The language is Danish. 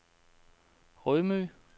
Rømø